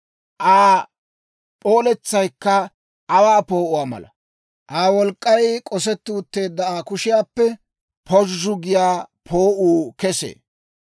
Aa p'ooletsaykka aawaa poo'uwaa mala; Aa wolk'k'ay k'osetti utteedda Aa kushiyaappe pozhzhu giyaa poo'uu kesee.